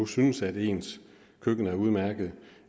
synes at ens køkken er udmærket